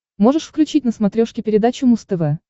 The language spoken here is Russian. можешь включить на смотрешке передачу муз тв